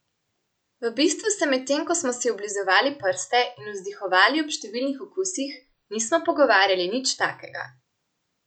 V bistvu se medtem ko smo si oblizovali prste in vzdihovali ob številnih okusih, nismo pogovarjali nič takega.